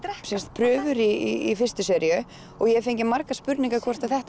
prufur í fystu seríu og ég hef fengið margar spurningar um hvort þetta